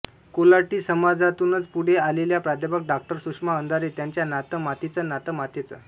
कोल्हाटी समाजातूनच पुढे आलेल्या प्रा डॉ सुषमा अंधारे त्यांच्या नातं मातीचं नातं मातेचं